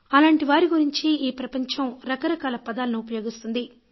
అలాంటి వారి గురించి ఈ ప్రపంచం రకరకాల పదాలను ఉపయోగిస్తుంది